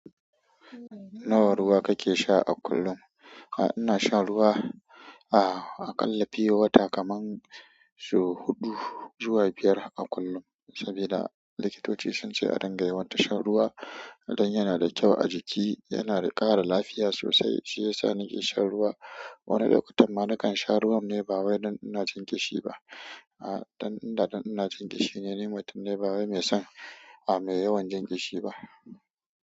Nawa ruwa kake sha a kullum? Ina shan ruwa aƙalla pure water kaman sau huɗu zuwa biyar a kullum sabida likitoci sun ce a dinga yawanta shan ruwa, don yana da kyau a jiki, yana da ƙara lafiya sosai. Shi ya sa ni ke shan ruwa. Wani lokutan ma na kan sha ruwan ne ba wai don ina jin ƙishi ba. A, dan inda dan, ina jin ƙishi ne, mutum ne, ba wai mai son, a, mai yawan jin ƙishi ba.